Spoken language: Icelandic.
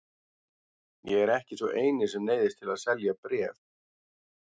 Ég er ekki sá eini sem neyðist til að selja bréf.